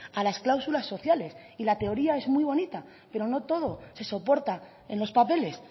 a las cláusulas sociales y la teoría es muy bonita pero no todo se soporta en los papeles